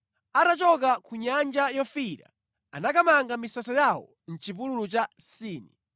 Atachoka ku Nyanja Yofiira anakamanga misasa yawo mʼchipululu cha Sini.